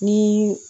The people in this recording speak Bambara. Ni